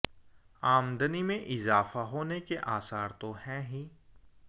आमदनी में इजाफा होने के आसार तो है ही